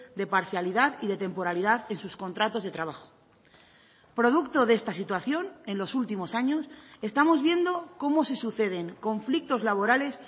de parcialidad y de temporalidad en sus contratos de trabajo producto de esta situación en los últimos años estamos viendo cómo se suceden conflictos laborales